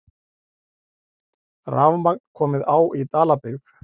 Rafmagn komið á í Dalabyggð